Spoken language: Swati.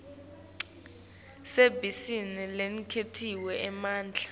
sisebenti lesiniketwe emandla